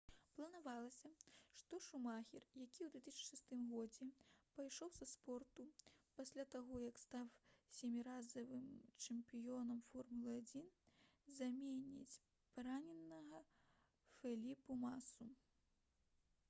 планавалася што шумахер які ў 2006 годзе пайшоў са спорту пасля таго як стаў сяміразовым чэмпіёнам формулы-1 заменіць параненага феліпэ масу